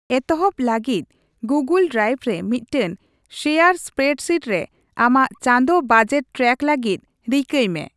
ᱮᱛᱚᱦᱚᱵ ᱞᱟᱹᱜᱤᱫ, Google drive ᱨᱮ ᱢᱤᱫᱴᱟᱝ ᱥᱮᱭᱟᱨ ᱥᱯᱮᱨᱰᱥᱤᱴ ᱨᱮ ᱟᱢᱟᱜ ᱪᱟᱸᱫᱳ ᱵᱟᱡᱮᱴ ᱴᱨᱮᱠ ᱞᱟᱹᱜᱤᱫ ᱨᱤᱠᱟᱹᱭ ᱢᱮ ᱾